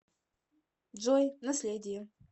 джой наследие